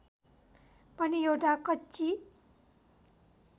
पनि एउटा कच्ची